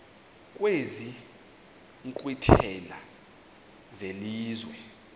kwezi nkqwithela zelizwe